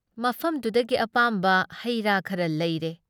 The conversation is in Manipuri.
ꯃꯐꯝꯗꯨꯨꯗꯒꯤ ꯑꯄꯥꯝꯕ ꯍꯩ ꯔꯥ ꯈꯔ ꯂꯩꯔꯦ ꯫